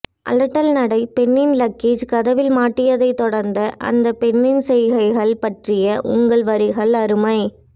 அலட்டல் நடை பெண்ணின் லக்கேஜ் கதவில் மாட்டியதைத் தொடர்ந்த அந்த பெண்ணின் செய்கைகள் பற்றிய உங்கள் வரிகள் அருமை